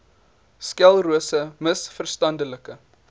sklerose ms verstandelike